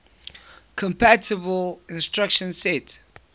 compatible instruction set